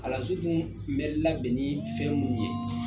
Kalansen dun bɛ labɛn ni fɛn minnu ye.